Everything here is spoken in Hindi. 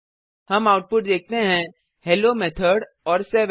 हम आउटपुट देखते हैं हेलो मेथोड और 7